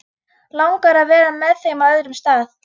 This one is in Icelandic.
Langar að vera með þeim á öðrum stað.